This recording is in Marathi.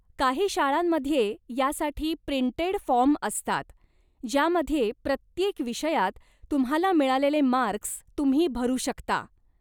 काही शाळांमध्ये यासाठी प्रिंटेड फॉर्म असतात ज्यामध्ये प्रत्येक विषयात तुम्हाला मिळालेले मार्क्स तुम्ही भरू शकता.